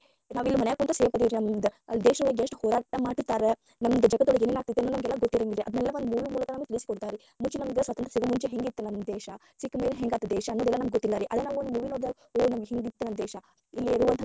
ನಾವ ಇಲ್ಲೇ ಮನ್ಯಾಗ ಕುಂತ safe ಅದೇವರಿ ಅಲ್ಲೇ ದೇಶದೊಳಗ ಎಷ್ಟ ಹೋರಾಟಾ ಮಾಡಿತೀರ್ತಾರ ನಮ್ಮದ ಜಗತ್ತೋಳಗ ಏನೇನ ಆಗ್ತೇತಿ ನಮಗ ಗೊತ್ತಿರಂಗಿಲ್ಲರೀ ಅದನ್ನೆಲ್ಲಾ ಒಂದ movie ನಮಗ ತಿಳಿಸಿಕೊಡ್ತಾರರೀ ಮುಂಚೆ ನಮಗ ಸ್ವಾತಂತ್ರ್ಯ ಸಿಗು ಮುಂಚೆ ಹೆಂಗ ಇತ್ತ ನಮ್ಮ ದೇಶಾ ಸಿಕ್ಕಮ್ಯಾಲೆ ಹೆಂಗಾತ ದೇಶಾ ಅನ್ನೋದ ನಮಗೆಲ್ಲಾ ಗೋತ್ತಿಲ್ಲಾರಿ ಅದ ನಾವ ಒಂದ movie ನೋಡ್ದಗ ಓ ಹಿಂಗತ್ತ ನಮ್ಮ ದೇಶಾ ಇಲ್ಲಿರುವಂತ ಜನರ.